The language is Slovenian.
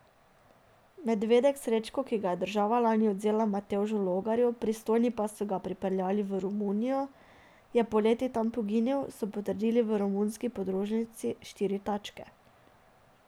Medvedek Srečko, ki ga je država lani odvzela Matevžu Logarju, pristojni pa so ga prepeljali v Romunijo, je poleti tam poginil, so potrdili v romunski podružnici Štiri tačke.